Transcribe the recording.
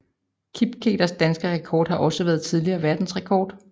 Kipketers danske rekord har også været tidligere verdensrekord